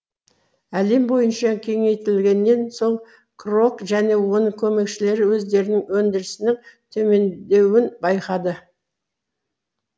әлем бойынша кеңейтілгеннен соң крок және оның көмекшілері өздерінің өндірісінің төмендеуін байқады